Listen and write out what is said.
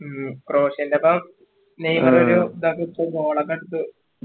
നെയ്മറോരു ഇതൊക്കെ ബ് Goal ഒക്കെ അടിച്ചു